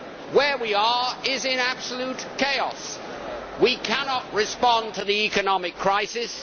Where we are is in absolute chaos we cannot respond to the economic crisis